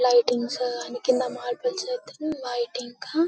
lightings కింద marbles అయితే white ఇంకా--